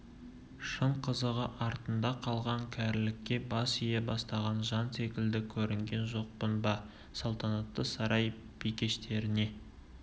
шын қызығы артында қалған кәрілікке бас ие бастаған жан секілді көрінген жоқпын ба салтанатты сарай бикештеріне